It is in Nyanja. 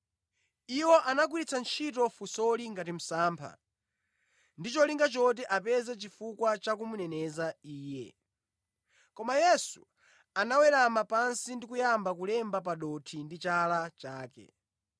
Iwo anagwiritsa ntchito funsoli ngati msampha, ndi cholinga choti apeze chifukwa cha kumuneneza Iye. Koma Yesu anawerama pansi ndi kuyamba kulemba pa dothi ndi chala chake.